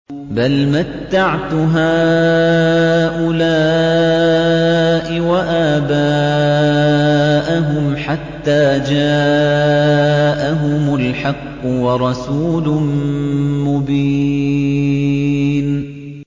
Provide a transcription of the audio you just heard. بَلْ مَتَّعْتُ هَٰؤُلَاءِ وَآبَاءَهُمْ حَتَّىٰ جَاءَهُمُ الْحَقُّ وَرَسُولٌ مُّبِينٌ